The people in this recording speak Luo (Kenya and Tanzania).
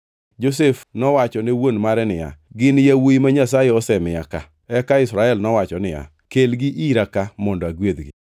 Josef nowacho ne wuon mare niya, “Gin yawuowi ma Nyasaye osemiya ka.” Eka Israel nowacho niya, “Kelgi ira ka mondo agwedhgi.”